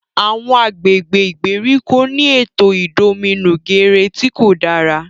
Awọn agbègbè ìgbèríko ni ètò idominugere ti kò dára